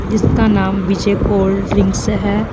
जिसका नाम Vijay cold drinks हैं।